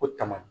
O tama